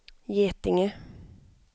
Getinge